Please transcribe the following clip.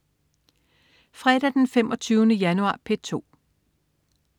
Fredag den 25. januar - P2: